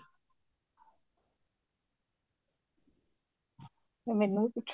ਮੈਨੂੰ ਪੁੱਛ